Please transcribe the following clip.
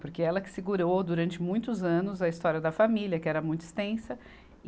Porque ela que segurou, durante muitos anos, a história da família, que era muito extensa.